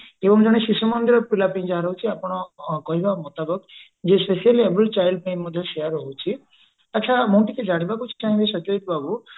ଏବଂ ଜଣେ ଶିଶୁ ମନ୍ଦିର ପିଲା ପାଇଁ ଯାହା ରହୁଛି ଆପଣ କହିବା ମୁତାବକ ଯେ specially enabled child ପାଇଁ ମଧ୍ୟ ସେୟା ରହୁଛି ଆଛା ମୁଁ ଟିକେ ଜାଣିବାକୁ ଚାହିଁବି ସତେଜ ବାବୁ